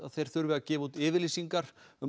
þeir þurfi að gefa út yfirlýsingar um